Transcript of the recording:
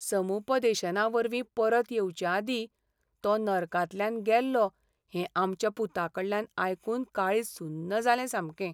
समुपदेशनावरवीं परत येवचेआदीं तो नर्कांतल्यान गेल्लो हें आमच्या पुताकडल्यान आयकून काळीज सुन्न जाल्लें सामकें.